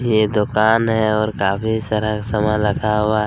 ये दुकान है और काफी सारा सामान रखा हुआ--